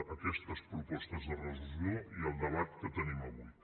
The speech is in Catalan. a aquestes propostes de resolució i al debat que tenim avui